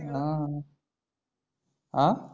हं अं?